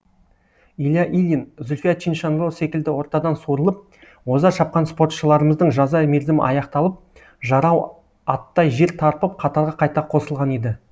илья ильин зүлфия чиншанло секілді ортадан суырылып оза шапқан спортшыларымыздың жаза мерзімі аяқталып жарау аттай жер тарпып қатарға қайта қосылған еді